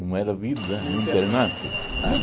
Como era a vida no internato?